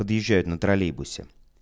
подъезжает на троллейбусе